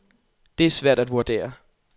Det er svært at vurdere.